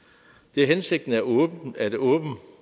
det er hensigten at åbne